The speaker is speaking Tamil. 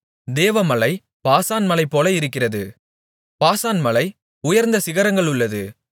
தேவ மலை பாசான் மலை போல இருக்கிறது பாசான் மலை உயர்ந்த சிகரங்களுள்ளது